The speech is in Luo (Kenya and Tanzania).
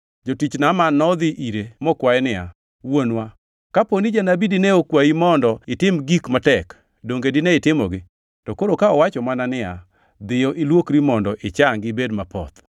Jotich Naaman nodhi ire mokwaye niya, “Wuonwa, kapo ni janabi dine okwayi mondo itim gik matek, donge dine itimogi? To koro ka owacho mana niya, ‘Dhi ilwokri mondo ichangi ibed mapoth’!”